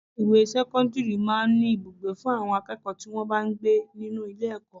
Ilé ìwé sẹ́kọ́ńdírì máa ń ní Ibùgbé fún àwọn akẹ́kọ̀ọ́ tí wọn bá ń gbé nínú ilé ẹ̀kọ́.